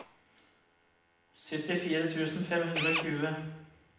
syttifire tusen fem hundre og tjue